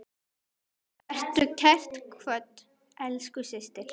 Vertu kært kvödd, elsku systir.